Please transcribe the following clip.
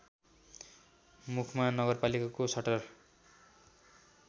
मुखमा नगरपालिकाको सटर